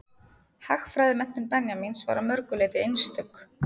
Hagfræðimenntun Benjamíns var að mörgu leyti einstök.